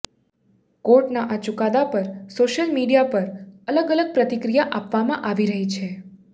કોર્ટના આ ચુકાદા પર સોશિયલ મીડિયા પર અલગ અલગ પ્રતિક્રિયા આપવામાં આવી રહી છે